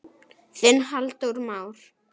Þinn Halldór Már.